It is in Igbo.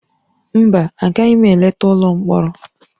Mba, agaghị m eleta ụlọ mkpọrọ